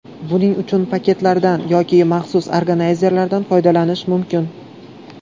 Buning uchun paketlardan yoki maxsus organayzerlardan foydalanish mumkin.